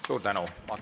Suur tänu!